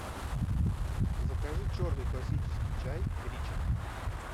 закажи черный классический чай ричард